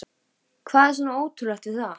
Hvað er svona ótrúlegt við það?